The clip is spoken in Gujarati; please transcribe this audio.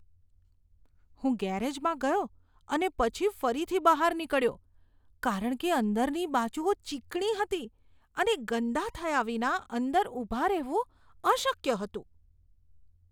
હું ગેરેજમાં ગયો અને પછી ફરીથી બહાર નીકળ્યો કારણ કે અંદરની બાજુઓ ચીકણી હતી અને ગંદા થયા વિના અંદર ઊભા રહેવું અશક્ય હતું.